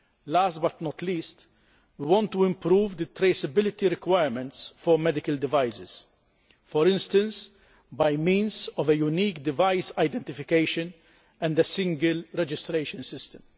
Last but not least, we want to improve the traceability requirements for medical devices, for instance by means of a unique device identification and a single registration system.